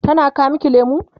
tana kawo maki lemu?